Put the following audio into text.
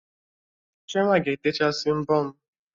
Chioma ga-etechasị mbọ m